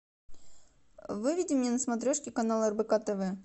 выведи мне на смотрешке канал рбк тв